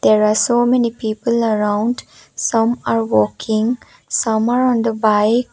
there are so many people around some are walking some are on the bike.